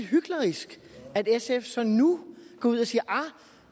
hyklerisk at sf så nu går ud og siger